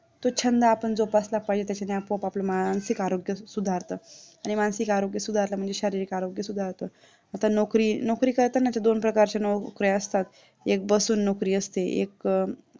तो छंद आपण जोपासला पाहिजे त्याच्याने आपोआप आपले मानसिक आरोग्य सुधारतं आणि मानसिक आरोग्य सुधारलं म्हणजे शारीरिक आरोग्य सुधारतं आता नोकरी. नोकरी करताना दोन प्रकारचे असतात नोकऱ्या असतात एक बसून नोकरी असते एक